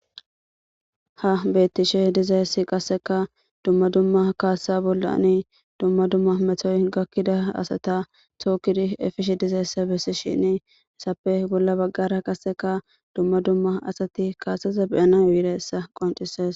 Ha betishe dizzayssi qassekka dumma dumma kassa bolla dumma dumma metoy gakida asatta tokidi efishe dizzaysa besishini hessappe bolla bagara qasekka asazi kasazza be'naw yizayssa qoncisees.